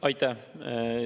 Aitäh!